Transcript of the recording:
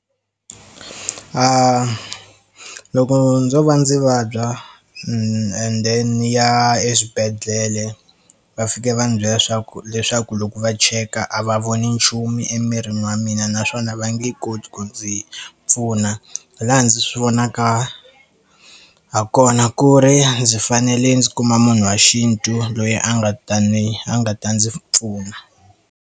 Loko ndzo va ndzi vabya ende ndzi ya eswibedhlele va fika va ndzi byela leswaku leswaku loko va cheka a va voni nchumu emirini wa mina naswona va nge koti ku ndzi pfuna hi laha ndzi swi vonaka ha kona ku ri ndzi fanele ndzi kuma munhu wa xintu loyi a nga ta ni a nga ta ndzi pfuna.